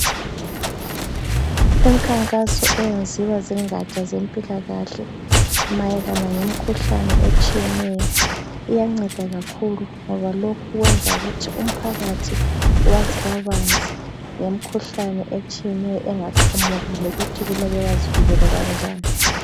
Imikhankaso eyenziwa zingatsha zempilakahle mayelana ngemikhuhlane etshiyeneyo iyanceda kakhulu ngoba lokhu kwenza ukuthi umphakathi wazi kabanzi ngemikhuhlane etshiyeneyo engaqhamuka lokuthi kumele bazivikele kanjani.